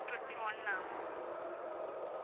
Twenty one ah